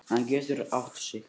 Hann getur átt sig.